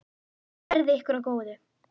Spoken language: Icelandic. Verði ykkur að góðu.